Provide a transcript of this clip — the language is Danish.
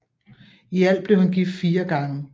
I alt blev han gift fire gange